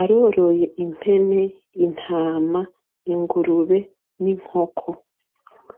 Aroroye impene, intama, ingurube n'inkoko.